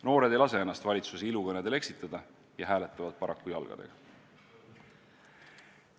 Noored ei lase ennast valitsuse ilukõnedel eksitada ja hääletavad paraku jalgadega.